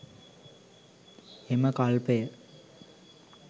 එම කල්පය